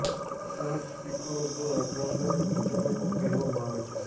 આ સ્પીકરો દ્વારા ગ્રામજનોને ભજનો પણ કહેવામાં આવે છે